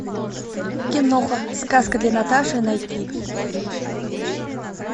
киноха сказка для наташи найти